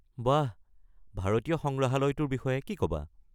বাহ... ভাৰতীয় সংগ্ৰহালয়টোৰ বিষয়ে কি ক'বা?